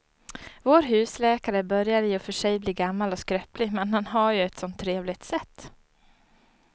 Vår husläkare börjar i och för sig bli gammal och skröplig, men han har ju ett sådant trevligt sätt!